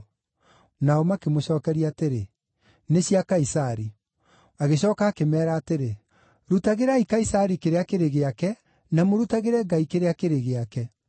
Nao makĩmũcookeria atĩrĩ, “Nĩ cia Kaisari.” Agĩcooka akĩmeera atĩrĩ, “Rutagĩrai Kaisari kĩrĩa kĩrĩ gĩake, na mũrutagĩre Ngai kĩrĩa kĩrĩ gĩake.”